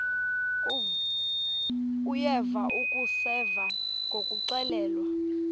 uyeva akuseva ngakuxelelwa